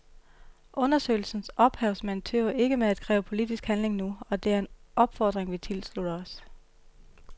Undersøgelsens ophavsmænd tøver ikke med at kræve politisk handling nu, og det er en opfordring vi tilslutter os.